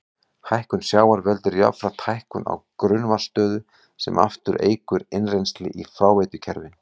Hækkun sjávar veldur jafnframt hækkun á grunnvatnsstöðu sem aftur eykur innrennsli í fráveitukerfi.